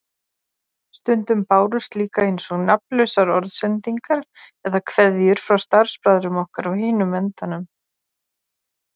Stundum bárust líka eins og nafnlausar orðsendingar eða kveðjur frá starfsbræðrum okkar á hinum endanum.